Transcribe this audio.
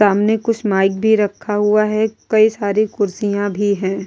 सामने कुछ माइक भी रखा हुआ है कई सारी कुर्सियां भी हैं ।